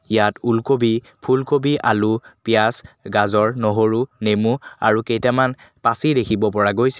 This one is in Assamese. ইয়াত ওলকবি ফুলকবি আলু পিয়াঁজ গাজৰ নহৰু নেমু আৰু কেইটামান পাচি দেখিব পৰা গৈছে।